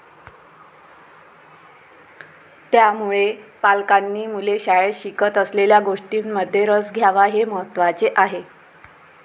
त्यामुळे, पालकांनी मुले शाळेत शिकत असलेल्या गोष्टींमध्ये रस घ्यावा हे महत्त्वाचे आहे.